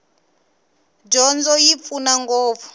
dyondzo yi pfuna ngopfu